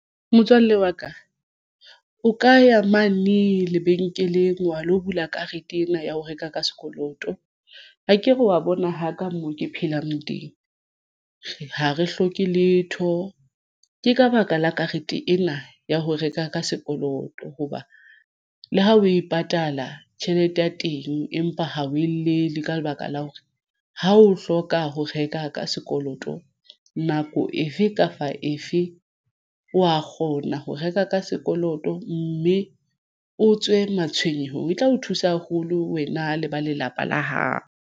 Motswalle wa ka o ka ya mane lebenkeleng wa lo bula karete ena ya ho reka ka sekoloto akere wa bona haka moo ke phelang teng. Ha re hloke letho ke ka baka la karete ena ya ho reka ka sekoloto hoba le ha o e patala tjhelete ya teng, empa ha o e le le ka lebaka la hore ha o hloka ho reka ka sekoloto nako efe kapa efe wa kgona ho reka ka sekoloto, mme o tswe matshwenyeho e tla o thusa haholo wena le ba lelapa la hao.